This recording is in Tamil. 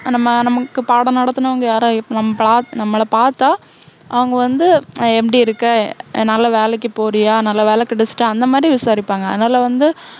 நம்ம நமக்கு பாடம் நடத்துனவங்க யாரா~நம்ம~நம்மள பாத்தா அவங்க வந்து எப்படி இருக்க? நல்ல வேலைக்கு போரியா? நல்ல வேலை கிடைச்சிட்டா? அந்த மாதிரி விசாரிப்பாங்க. அதனால வந்து